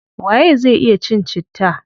Waye zai iya cin citta?